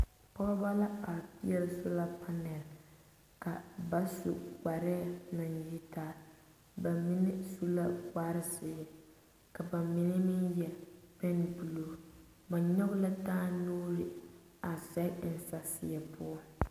Pɔgeba la a peɛle sola panɛl su kparre naŋ yitaa ba mine su la kparre zeɛ ka ba mine meŋ yɛre pine buluu.